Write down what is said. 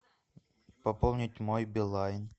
пополнить мой билайн